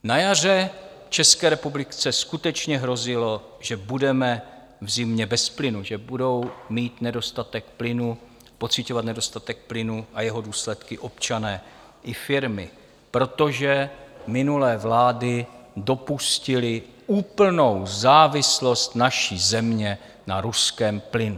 Na jaře České republice skutečně hrozilo, že budeme v zimě bez plynu, že budou mít nedostatek plynu, pociťovat nedostatek plynu a jeho důsledky občané i firmy, protože minulé vlády dopustily úplnou závislost naší země na ruském plynu.